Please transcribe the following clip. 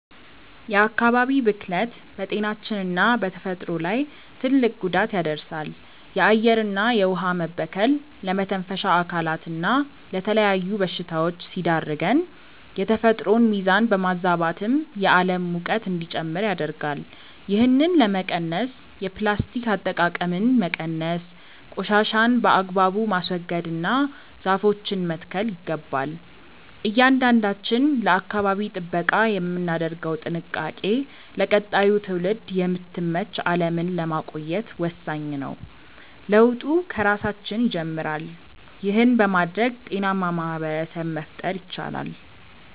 የአካባቢ ብክለት በጤናችንና በተፈጥሮ ላይ ትልቅ ጉዳት ያደርሳል። የአየርና የውኃ መበከል ለመተንፈሻ አካላትና ለተለያዩ በሽታዎች ሲዳርገን፣ የተፈጥሮን ሚዛን በማዛባትም የዓለም ሙቀት እንዲጨምር ያደርጋል። ይህንን ለመቀነስ የፕላስቲክ አጠቃቀምን መቀነስ፣ ቆሻሻን በአግባቡ ማስወገድና ዛፎችን መትከል ይገባል። እያንዳንዳችን ለአካባቢ ጥበቃ የምናደርገው ጥንቃቄ ለቀጣዩ ትውልድ የምትመች ዓለምን ለማቆየት ወሳኝ ነው። ለውጡ ከራሳችን ይጀምራል። ይህን በማድረግ ጤናማ ማኅበረሰብ መፍጠር ይቻላል።